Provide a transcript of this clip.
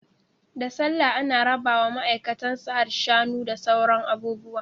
Da sallah ana rabawa maaikatan Sahad Shanu da sauran abubuwa